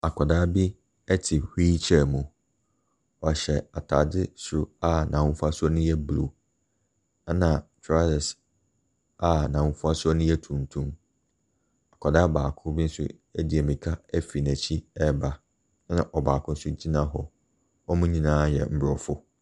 Akwadaa bi te wheelchair mu. Ɔhyɛ atadeɛ soro, a n'ahofa suo no yɛ blue, ɛna trousers a n'ahofasuo no yɛ tuntum. Akwadaa baako bi nso di mmirika firi n'akyi reba, ɛna ɔbaako nso gyina hɔ. Wɔn nyinaa yɛ Aborɔfo.